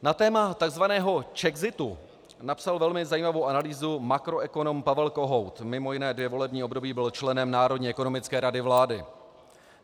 Na téma takzvaného czexitu napsal velmi zajímavou analýzu makroekonom Pavel Kohout, mimo jiné dvě volební období byl členem Národní ekonomické rady vlády.